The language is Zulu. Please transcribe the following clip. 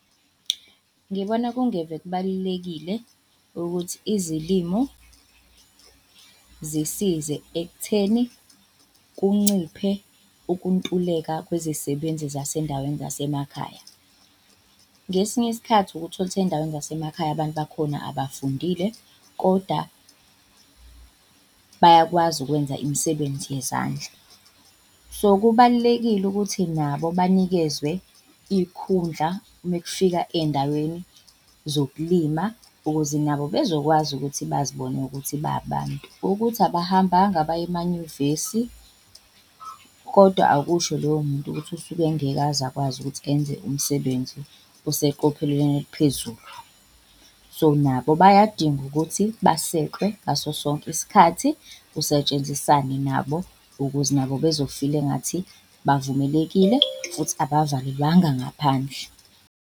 Ngibona kungeve kubalulekile ukuthi izilimo zisize ekutheni kunciphe ukuntuleka kwezisebenzi zasendaweni zasemakhaya. Ngesinye isikhathi ukuthole ukuthi ey'ndaweni zasemakhaya abantu bakhona abafundile koda bayakwazi ukwenza imisebenzi yezandla. So kubalulekile ukuthi nabo banikezwe iy'khundla mekufika ey'ndaweni zokulima ukuze nabo bezokwazi ukuthi bazibone ukuthi ba abantu. Ukuthi abahambanga baye emanyuvesi, kodwa akusho loyo muntu ukuthi usuke engeke aze akwazi ukuthi enze umsebenzi oseqophelelweni eliphezulu. So nabo bayadinga ukuthi basekwe ngaso sonke isikhathi kusetshenzisane nabo, ukuze nabo bezofila engathi bavumelekile futhi abavalelwanga ngaphandle.